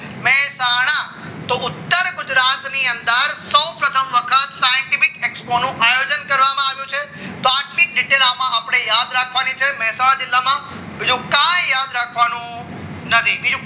તો ઉત્તર ગુજરાતની અંદર સૌ પ્રથમ વખત scientific X one આયોજન કરવામાં આવ્યું છે તો પ્રાથમિક detail માં આપણે યાદ રાખવાની છે મહેસાણા જિલ્લામાં બીજું કાય યાદ રાખવાનું નથી